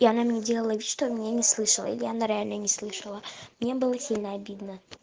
и она мне делала вид что меня не слышала или она реально не слышала мне было сильно обидно